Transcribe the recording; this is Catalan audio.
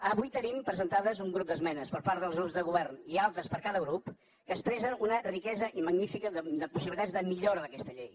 avui tenim presentades un grup d’esmenes per part dels grups de govern i altres per cada grup que expressen una riquesa i magnífica possibilitat de millora d’aquesta llei